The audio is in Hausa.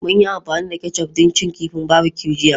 Mun yi amfani da ketchup don cin kifi barbecue jiya.